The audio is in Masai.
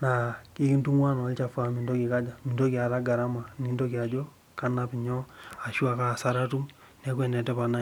na ekintungua naa garama nintoki ajo kanap inyo ashu kaasara atum